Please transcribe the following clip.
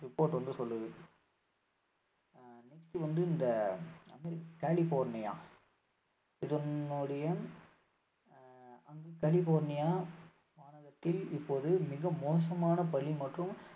report வந்து சொல்லுது ஆஹ் next வந்து இந்த கலிபோர்னியா இதனுடைய ஆஹ் அங்கு கலிபோர்னியா மாநகரத்தில் இப்பொழுது மிக மோசமான பனி மற்றும்